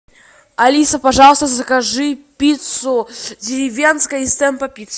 алиса пожалуйста закажи пиццу деревенская из темпо пицц